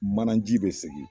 Manaji be segin